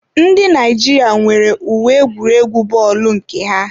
Ndị Naijiria nwere uwe egwuregwu bọọlu nke ha.